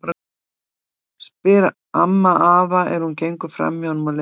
spyr amma afa er hún gengur fram hjá honum á leið inn í eldhús.